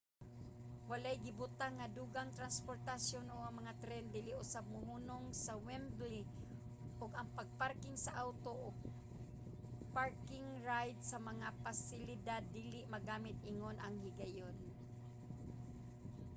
walay gibutang nga dugang transportasyon ug ang mga tren dili usab mohunong sa wembley ug ang pagparking sa awto ug park-and-ride nga mga pasilidad dili magamit ingon sa higayon